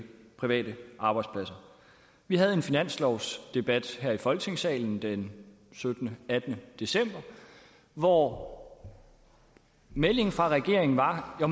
private arbejdspladser vi havde en finanslovsdebat her i folketingssalen den syttende og attende december hvor meldingen fra regeringen var at